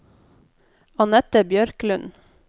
Anette Bjørklund